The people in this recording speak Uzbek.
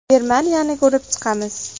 Germaniyani ko‘rib chiqamiz.